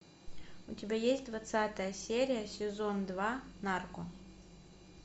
у тебя есть двадцатая серия сезон два нарко